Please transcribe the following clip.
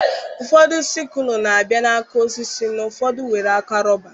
Ụfọdụ sikụlụ na-abịa na aka osisi na ụfọdụ nwere aka rọba.